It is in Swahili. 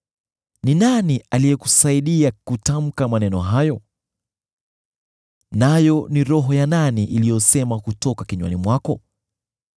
Ni nani aliyekusaidia kutamka maneno hayo? Nayo ni roho ya nani iliyosema kutoka kinywani mwako?